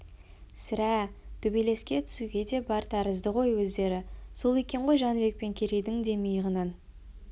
сірә төбелеске түсуге де бар тәрізді ғой өздері сол екен ғой жәнібек пен керейдің де миығынан